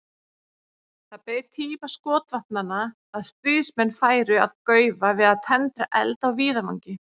Það beið tíma skotvopnanna að stríðsmenn færu að gaufa við að tendra eld á víðavangi.